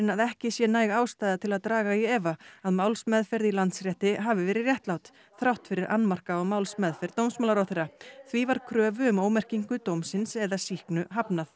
að ekki sé næg ástæða til að draga í efa að málsmeðferð í Landsrétti hafi verið réttlát þrátt fyrir annmarka á málsmeðferð dómsmálaráðherra því var kröfu um ómerkingu dómsins eða sýknu hafnað